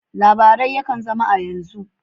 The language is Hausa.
Labarai yakan zama a yanzu.